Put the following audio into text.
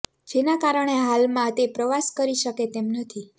જેના કારણે હલમાં તે પ્રવાસ કરી શકે તેમ નથી